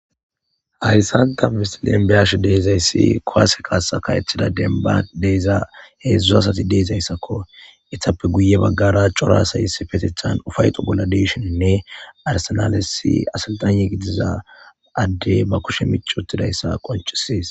Hayssan ta misilen be7ashe de7izayssi kuwaase kaasaka ethida demba deyza heedzdzu asati deezayssakko itappe guye baggara corasayis petethan ufayxo bolla deshininne arisinalesi asiltanye gidiza adde ba kushe micwottidayssa qoncises.